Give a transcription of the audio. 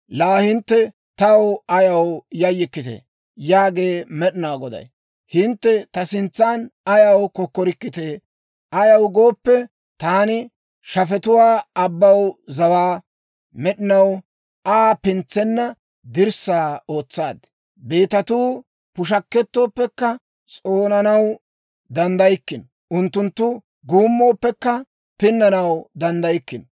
Laa hintte taw ayaw yayyikkitee? Yaagee Med'inaa Goday. Hintte ta sintsan ayaw kokkorikkitee? Ayaw gooppe, taani shafetuwaa abbaw zawaa, med'inaw Aa pintsenna dirssaa ootsaad. Beetatuu pushakettooppekka s'oonanaw danddaykkino. Unttunttu guummooppekka pinnanaw danddaykkino.